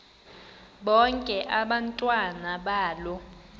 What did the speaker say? bonke abantwana balo